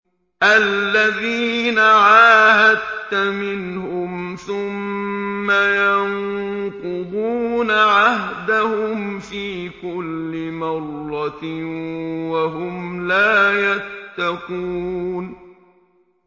الَّذِينَ عَاهَدتَّ مِنْهُمْ ثُمَّ يَنقُضُونَ عَهْدَهُمْ فِي كُلِّ مَرَّةٍ وَهُمْ لَا يَتَّقُونَ